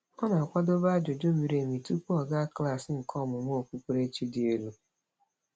Ọ na-akwadobe ajụjụ miri emi tụpụ ọ gaa klaasị nke ọmúmú okpukperechi dị elu.